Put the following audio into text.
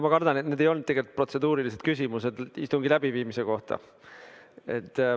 Ma kardan, et need ei olnud protseduurilised küsimused istungi läbiviimise kohta.